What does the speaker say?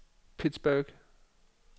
Pittsburgh